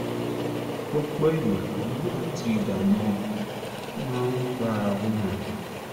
lọ́pọ̀ ìgbà àníyàn àti ìdààmú ọkàn máa ń bára wọn rìn